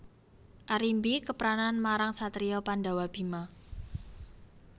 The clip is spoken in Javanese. Arimbi kepranan marang satriya Pandhawa Bima